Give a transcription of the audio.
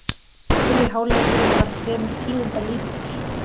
Fyrri hálfleikurinn var fremur tíðindalítill